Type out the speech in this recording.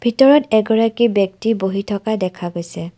ভিতৰত এগৰাকী ব্যক্তি বহি থকা দেখা গৈছে।